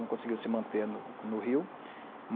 Não conseguiu se manter no Rio.